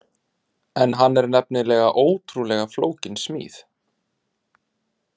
En hann er nefnilega ótrúlega flókin smíð.